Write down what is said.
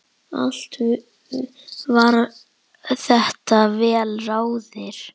Allt var þetta vel ráðið.